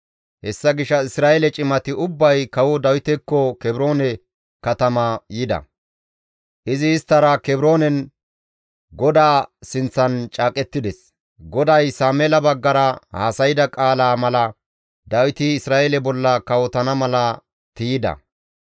Hessa gishshas Isra7eele cimati ubbay Kawo Dawitekko Kebroone katama yida; izi isttara Kebroonen GODAA sinththan caaqettides; GODAY Sameela baggara haasayda qaalaa mala Dawiti Isra7eele bolla kawotana mala tiyda.